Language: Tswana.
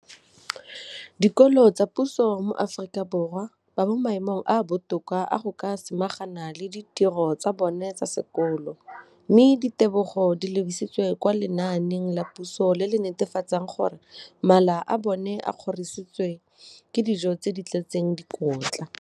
dikolo tsa puso mo Aforika Borwa ba mo maemong a a botoka a go ka samagana le ditiro tsa bona tsa sekolo, mme ditebogo di lebisiwa kwa lenaaneng la puso le le netefatsang gore mala a bona a kgorisitswe ka dijo tse di tletseng dikotla.